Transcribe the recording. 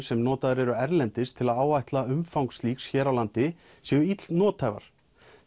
sem notaðar eru erlendis til að áætla umfang slíks hér á landi séu ill nothæfar